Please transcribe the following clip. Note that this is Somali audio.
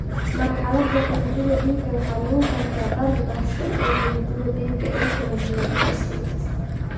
Marxaladda xididdada dhiigga waxaa lagu gartaa barar baahsan ee xididdada dhiigga ee kala duwan (vasculitis).